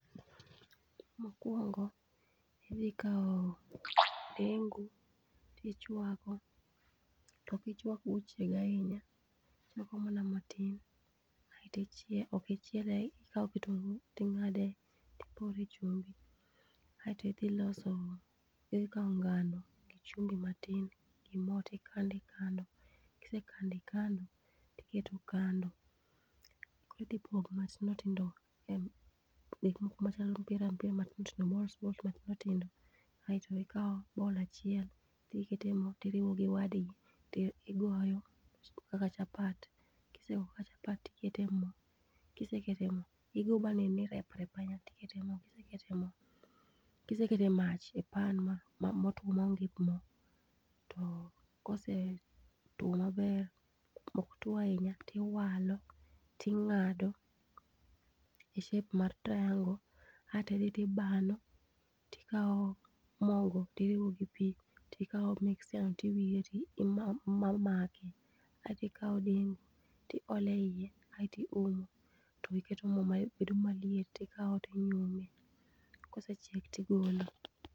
Mokwongo, idhi kawo dengu, tichwako, ok ichwak mochieg ahinya, ichwako mana matin, ok ichiele, ikawo kitungu ting'ade tipore chumbi, aeto idhi loso, ikawo ngano gi chumbi matin gi mo tikando ikando, kisekando ikando, tiketo kando, koro ipogo matindo tindo ,gik moko machalo mpira matindo tindo aeto ikawo roll achiel tiketo e mo tiriwo gi wadgi, tigoyo kaka chapat, kisegoyo kaka chapat, tiketo mo. Kiseketo mo, igo banen ni reprep ahinya tikete mo. Kiseketo mach e pan motuwo maonge pi, to kosetuwo maber, ok tuwo ahinya, tiwalo ting'ado e shape mar triangle. Aeto idhi tibano, tikawo mogo tiriwo gi pi tikawo mixture no tiwire ti mamaki. Aeto ikawo dengu tiole iye aeto iumo, to iketo mo mabedo maliet, ikawo to inyume. Kosechiek tigolo.